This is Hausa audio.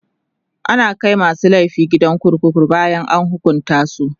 ana Kai masu laifi gidan kurkuku bayan an hukunta su